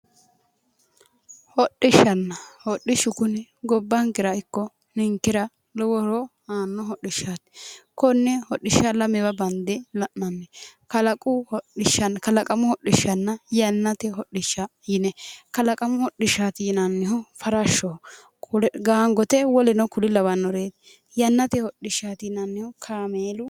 Hodhishshanna, hodhishshu kuni Gobbankera ikko ninkera lowo horo aano hodhishshaati. konne hodhishsha lamewa bande la"ananni kalaqamu hoshishshanna yannate hodhishsha yinne, kalaqamu hodhishshati yinneemmohu farashoho Gangote woluno kuri lawannorie, yannate hodhishshati yinannihu kaamelu